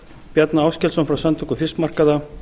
bjarna áskelsson frá samtökum fiskmarkaða